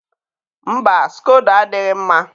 mba, skodo adịghị mma.